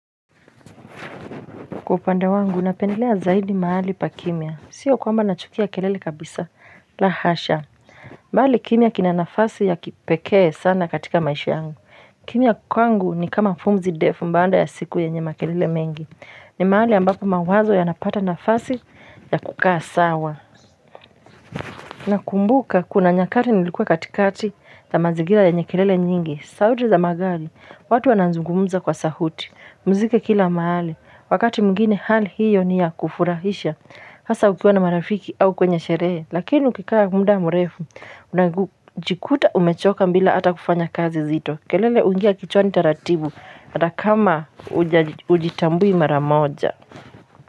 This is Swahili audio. Kwa upande wangu, napendelea zaidi mahali pa kimya. Sio kwamba nachukia kelele kabisa, la hasha. Mahali kimya kina nafasi ya kipekee sana katika maisha yangu. Kimya kwangu ni kama pumzi ndefu baada ya siku yenye makelele mengi. Ni mahali ambapo mawazo yanapata nafasi ya kukaa sawa. Nakumbuka, kuna nyakati nilikuwa katikati ya mazingira yenye kelele nyingi. Sauti za magari, watu wanazungumza kwa sauti. Mziki kila mahali. Wakati mwingine hali hiyo ni ya kufurahisha Hasa ukiwa na marafiki au kwenye sherehe Lakini ukikaa muda murefu Unajikuta umechoka bila hata kufanya kazi zito kelele huingia kichwani taratibu hata kama hujitambui mara moja.